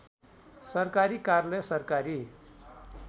सरकारी कार्यालय सरकारी